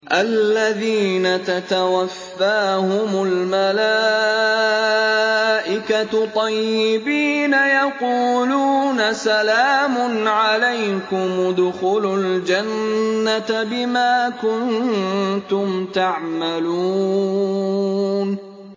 الَّذِينَ تَتَوَفَّاهُمُ الْمَلَائِكَةُ طَيِّبِينَ ۙ يَقُولُونَ سَلَامٌ عَلَيْكُمُ ادْخُلُوا الْجَنَّةَ بِمَا كُنتُمْ تَعْمَلُونَ